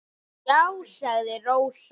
Já, sagði Rósa.